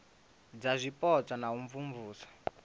dza zwipotso na u imvumvusa